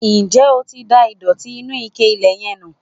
Nje o ti da ìdòtí inú ike ilẹ̀ yẹn nù?